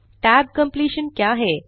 tab completion क्या है